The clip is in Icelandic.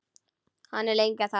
Hann er lengi að tala.